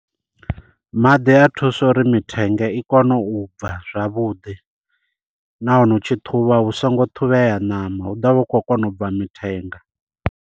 Maḓi a thusa uri mithenge i kone u bva zwavhuḓi, nahone u tshi ṱhuvha hu songo ṱhuvhela ṋama hu ḓovha hu khou kona u bva mithenga.